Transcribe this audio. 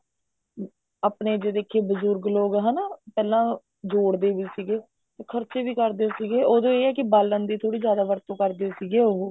ਆਪਣੇ ਜੇ ਦੇਖੀਏ ਬਜੁਰਗ ਲੋਕ ਹਨਾ ਪਹਿਲਾਂ ਜੋੜਦੇ ਵੀ ਸੀਗੇ ਖਰਚੇ ਵੀ ਕਰਦੇ ਸੀਗੇ ਉਦੋਂ ਇਹ ਹੈ ਕੀ ਬਾਲਣ ਦੀ ਥੋੜੀ ਜਿਆਦਾ ਵਰਤੋ ਕਰਦੇ ਸੀਗੇ ਉਹ